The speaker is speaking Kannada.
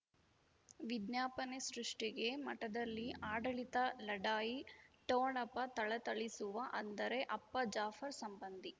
ವಿಜ್ಞಾಪನೆ ಸೃಷ್ಟಿಗೆ ಮಠದಲ್ಲಿ ಆಡಳಿತ ಲಢಾಯಿ ಠೊಣಪ ಥಳಥಳಿಸುವ ಅಂದರೆ ಅಪ್ಪ ಜಾಫರ್ ಸಂಬಂಧಿ